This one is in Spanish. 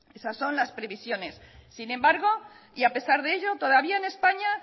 esas son las previsiones sin embargo y a pesar de ello todavía en españa